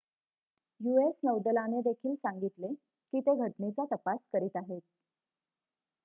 US नौदलाने देखील सांगितले की ते घटनेचा तपास करीत आहेत